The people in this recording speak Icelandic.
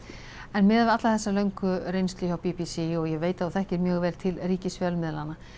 en miðað við alla þessa löngu reynslu hjá b b c og ég veit að þú þekkir mjög vel til ríkisfjölmiðlanna